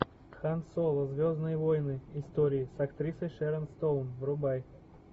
хан соло звездные войны истории с актрисой шэрон стоун врубай